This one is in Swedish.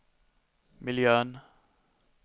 miljön